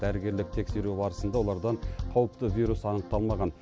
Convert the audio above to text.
дәрігерлік тексеру барысында олардан қауіпті вирус анықтамалған